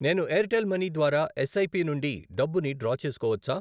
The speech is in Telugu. నేను ఎయిర్టెల్ మనీ ద్వారా ఎస్ఐపి నుండి డబ్బుని డ్రా చేసుకోవచ్చా?